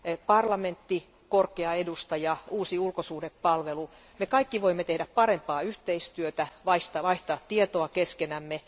Parlamentti, korkea edustaja, uusi ulkosuhdehallinto, me kaikki voimme tehdä parempaa yhteistyötä ja vaihtaa tietoa keskenämme.